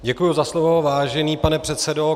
Děkuju za slovo, vážený pane předsedo.